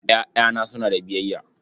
Ƴaƴana suna da biyayya.